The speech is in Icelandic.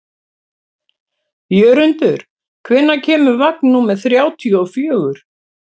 Jörundur, hvenær kemur vagn númer þrjátíu og fjögur?